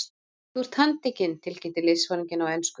Þú ert handtekinn tilkynnti liðsforinginn á ensku.